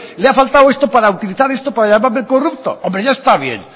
le ha faltado esto para llamarme corrupto hombre ya está bien